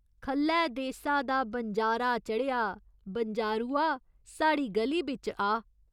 ख'ल्लै देसा दा बनजारा चढ़ेआ बनजारुआ, साढ़ी ग'ली बिच आ।